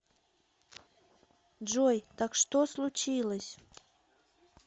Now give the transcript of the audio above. джой так что случилось